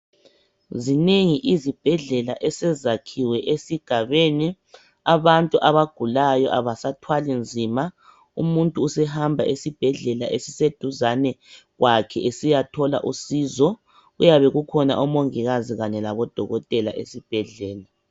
Zinengi izibhedlela esezakhiwe esigabeni abantu abagulayo abasathwali nzima. Umuntu usehamba esibhedlela esiseduze suyathola usizo. Kuyabe kukhona odokotela labomongikazi esibhedlela.